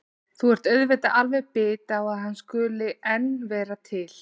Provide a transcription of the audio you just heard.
Þú ert auðvitað alveg bit á að hann skuli enn vera til.